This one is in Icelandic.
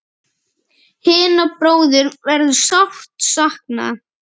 Hinna bróður verður sárt saknað.